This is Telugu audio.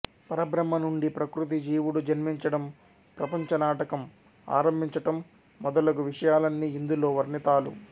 పరబ్రహ్మ నుండి ప్రకృతి జీవుడు జన్మించడం ప్రపంచనాటకం ఆరంభించటం మొదలగు విషయాలన్ని ఇందులో వర్ణితాలు